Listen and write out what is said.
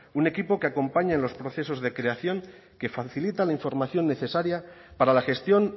un equipo que acompaña en los procesos de creación que facilita la información necesaria para la gestión